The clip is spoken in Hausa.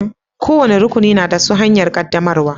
Kowani rukuni na da na su hanyar qaddamarwa.